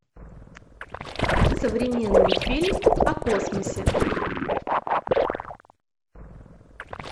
современный фильм о космосе